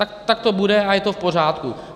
Tak to bude a je to v pořádku.